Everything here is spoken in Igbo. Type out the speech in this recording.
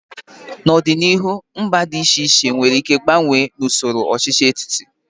N'ọdịnihu, mba dị iche iche nwere ike gbanwee n'usoro ọchịchị etiti.